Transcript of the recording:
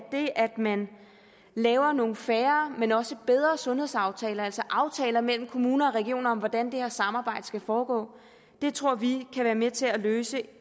man laver nogle færre men også bedre sundhedsaftaler altså aftaler mellem kommuner og regioner om hvordan det her samarbejde skal foregå tror vi kan være med til at løse